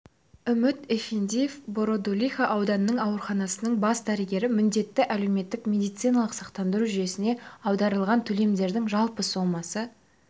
үміт эфендиев бородулиха аудандық ауруханасының бас дәрігері міндетті әлеуметтік медициналық сақтандыру жүйесіне аударылған төлемдердің жалпы сомасы